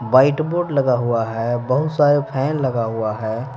White board लगा हुआ है बहुत सारे फैन लगा हुआ है।